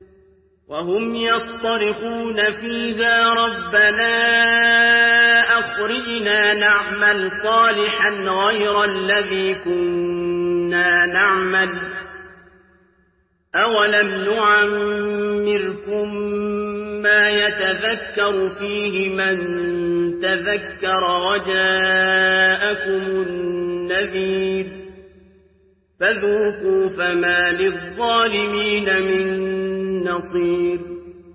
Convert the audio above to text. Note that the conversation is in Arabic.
وَهُمْ يَصْطَرِخُونَ فِيهَا رَبَّنَا أَخْرِجْنَا نَعْمَلْ صَالِحًا غَيْرَ الَّذِي كُنَّا نَعْمَلُ ۚ أَوَلَمْ نُعَمِّرْكُم مَّا يَتَذَكَّرُ فِيهِ مَن تَذَكَّرَ وَجَاءَكُمُ النَّذِيرُ ۖ فَذُوقُوا فَمَا لِلظَّالِمِينَ مِن نَّصِيرٍ